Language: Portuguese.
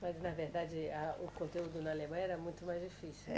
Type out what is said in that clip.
Mas, na verdade, a, o conteúdo na Alemanha era muito mais difícil. É